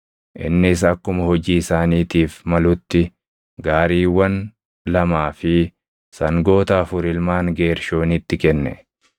Innis akkuma hojii isaaniitiif malutti gaariiwwan lamaa fi sangoota afur ilmaan Geershoonitti kenne;